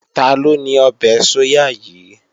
Taló ní ọbẹ̀ sóyà yìí?